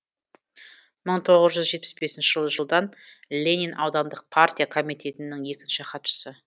мың тоғыз жүз жетпіс бесінші жылдан ленин аудандық партия комитетінің екінші хатшысы